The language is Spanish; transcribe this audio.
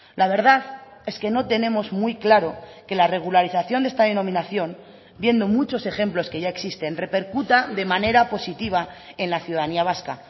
la verdad es que no tenemos muy claro que la regularización de esta denominación viendo muchos ejemplos que ya existen repercuta de manera positiva en la ciudadanía vasca